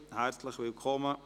Herzlich willkommen.